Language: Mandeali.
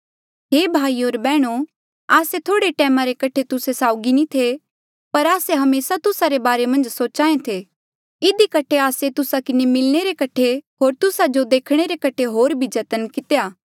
हे भाईयो होर बैहणो आस्से थोह्ड़े टैमा रे कठे तुस्सा साउगी नी थे पर आस्से हमेसा तुस्सा रे बारे सोचाहें थे इधी कठे आस्से तुस्सा किन्हें मिलणे रे कठे होर तुस्सा जो देखणे रे कठे होर भी जतन कितेया